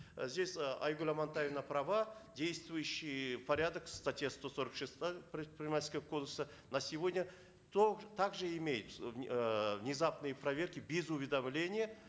здесь э айгуль амантаевна права действующий порядок статья сто сорок шестая предпринимательского кодекса на сегодня то также имеются внезапные проверки без уведомления